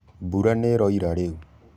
Mbũra nĩĩroĩra rĩũ